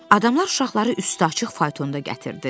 Adamlar uşaqları üstü açıq faytonda gətirdilər.